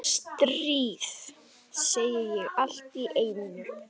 Stríð, segi ég allt í einu.